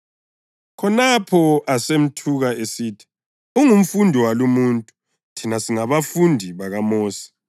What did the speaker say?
Khonapho asemthuka esithi, “Ungumfundi walumuntu! Thina singabafundi bakaMosi!